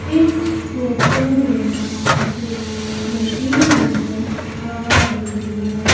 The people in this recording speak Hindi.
इस फोटो में मुझे मशीन नजर आ रही है।